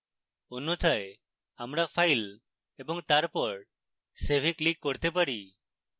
অন্যথায় আমরা file এবং তারপর save we click করতে পারি